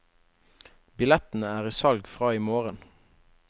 Billettene er i salg fra i morgen.